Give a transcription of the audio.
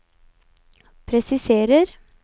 presiserer